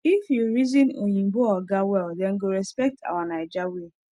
if you reason oyinbo oga well dem go respect our naija way